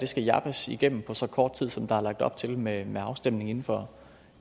skal jappes igennem på så kort tid som der er lagt op til med afstemning inden for